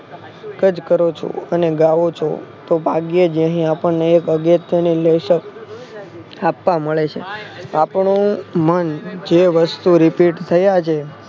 જ કરો છો અને ગાવો છો તો ભાગ્યે જ અહીં આપણને એક અગત્યની લેશક સ્થાપવા મળે છે. આપણું મન જે વસ્તુ Repeat થયા છે.